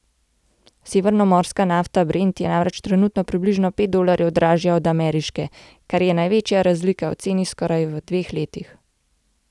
Severnomorska nafta brent je namreč trenutno približno pet dolarjev dražja od ameriške, kar je največja razlika v ceni v skoraj dveh letih.